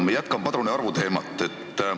Ma jätkan padrunite arvu teemal.